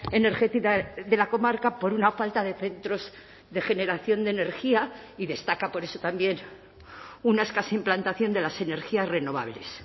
energética de la comarca por una falta de centros de generación de energía y destaca por eso también una escasa implantación de las energías renovables